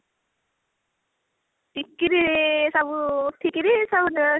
ଟିକିନି ସବୁ ଉଠି କିରି ସବୁ